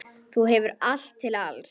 Þú hefur allt til alls.